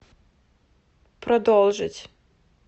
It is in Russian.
продолжить